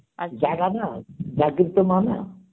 জাগা না মা না.